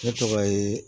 Ne tɔgɔ ye